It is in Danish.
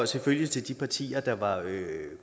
selvfølgelig til de partier der var